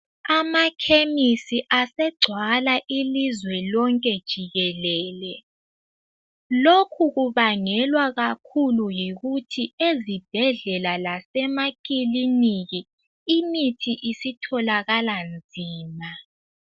Amakhemisi asegcwala ilizwe lonke jikelele lokhu kubangelwa kakhulu yikuthi ezibhedlela lasemakiliniki imithi isitholakala nzima.